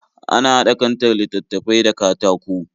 Ana haɗa kantar littattafai da katako